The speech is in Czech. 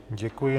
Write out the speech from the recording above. Děkuji.